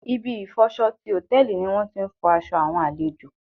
Ibi ìfọ'ṣọ ti Hòtẹ́lìì ni wón ti ń fọ aṣọ àwọn àlejò.